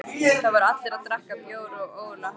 Þar voru allir að drekka bjór og ógurleg hátíð.